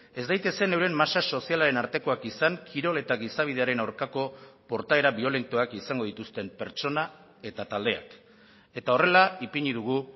ez daitezen euren masa sozialaren artekoak izan kirol eta gizabidearen aurkako portaera biolentoak izango dituzten pertsona eta taldeak eta horrela ipini dugu